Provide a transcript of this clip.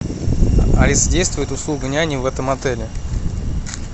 алиса действует услуга няни в этом отеле